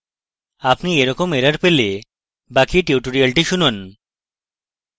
আপনি এইরকম error পেলে বাকি tutorial শুনুন